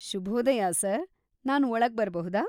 ಶುಭೋದಯ ಸರ್‌, ನಾನ್‌ ಒಳಗ್ ಬರ್ಬಹುದಾ?